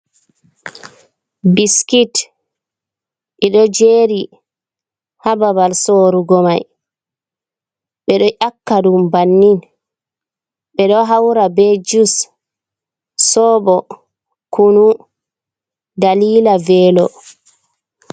Biskit ɗi ɗo jeeri ha babal sorugo mai, ɓe ɗo ƴakka ɗum bannin, ɓe ɗo haura be jus, soobo, kunu dalila velo.